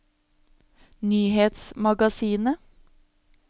nyhetsmagasinet